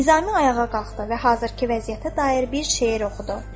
Nizami ayağa qalxdı və hazırkı vəziyyətə dair bir şeir oxudu.